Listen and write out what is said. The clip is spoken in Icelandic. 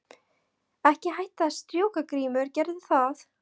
Ekki hætta að strjúka Grímur gerðu það.